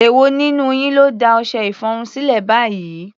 Èwo nínú yín ló da ọṣẹ-ìfọrun sílẹ̀ báyìí?